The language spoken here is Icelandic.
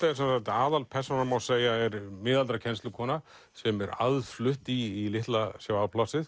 aðalpersónan má segja er miðaldra kennslukona sem er aðflutt í litla sjávarplássið